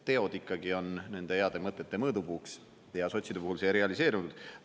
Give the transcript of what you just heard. Teod ikkagi on nende heade mõtete mõõdupuuks ja sotside puhul see realiseerunud.